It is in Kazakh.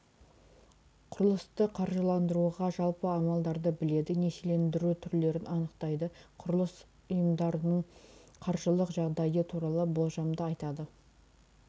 құрылысты қаржыландыруға жалпы амалдарды біледі несиелендіру түрлерін анықтайды құрылыс ұйымдарының қаржылық жағдайы туралы болжамды айтады